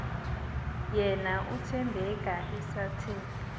yena uthembeka esathe